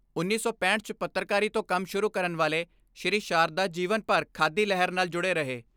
ਉੱਨੀ ਸੌ ਪੈਂਹਠ 'ਚ ਪੱਤਰਕਾਰੀ ਤੋਂ ਕੰਮ ਸ਼ੁਰੂ ਕਰਨੇ ਵਾਲੇ ਸ੍ਰੀ ਸਾਰਦਾ ਜੀਵਨ ਭਰ ਖਾਦੀ ਲਹਿਰ ਨਾਲ ਜੁੜੇ ਰਹੇ।